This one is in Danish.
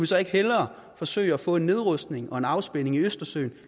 så ikke hellere forsøge at få nedrustning og afspænding i østersøen